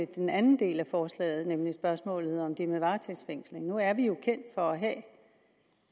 den anden del af forslaget nemlig spørgsmålet om det med varetægtsfængsling nu er vi jo kendt for